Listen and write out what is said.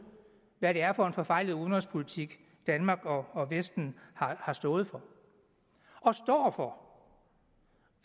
hvad det er for en forfejlet udenrigspolitik danmark og og vesten har stået for og står for